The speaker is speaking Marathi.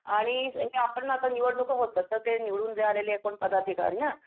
आणि हे आपण ना आता निवडणूका होतात तर ते निवडून जे आलेले कोण पदाधिकारी ना